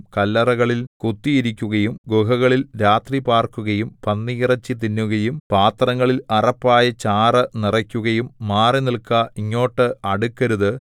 കല്ലറകളിൽ കുത്തിയിരിക്കുകയും ഗുഹകളിൽ രാത്രി പാർക്കുകയും പന്നിയിറച്ചി തിന്നുകയും പാത്രങ്ങളിൽ അറപ്പായ ചാറു നിറയ്ക്കുകയും മാറി നില്ക്ക ഇങ്ങോട്ട് അടുക്കരുത്